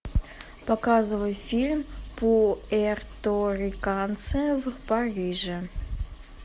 показывай фильм пуэрториканцы в париже